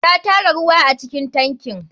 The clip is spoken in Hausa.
Ta tara ruwa acikin tankin.